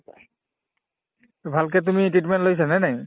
আৰু ভালকে তুমি treatment লৈছা নে নাই